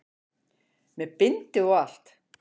Með bindi og allt!